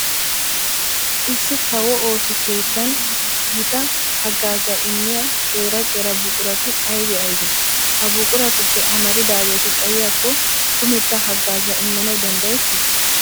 Issi kawo ooso keettan gita haggaazaa immiya qeera qeera buqurati aybe aybee? Ha buquratuppe amaridaageeti xayiyakko kumetta haggaazaa immanawu danddayettii?